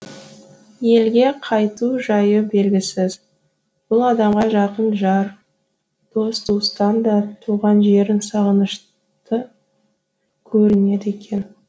елге қайту жайы белгісіз бұл адамға жақын жар дос туыстан да туған жерің сағынышты көрінеді екен